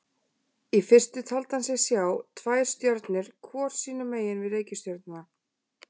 Í fyrstu taldi hann sig sjá tvær stjörnur hvor sínu megin við reikistjörnuna.